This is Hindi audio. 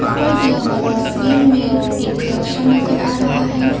ऊपर दिया हुआ तस्वीर में एक कक्षा नजर आ रहा है।